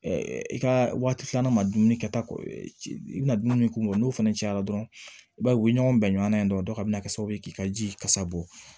i ka waati filanan ma dumuni kɛ ta i bɛna dumuni kumu bɔ n'o fana cayara dɔrɔn i b'a ye u bɛ ɲɔgɔn bɛn ɲɔgɔnna yen dɔrɔn a bɛ na kɛ sababu ye k'i ka ji kasa bɔ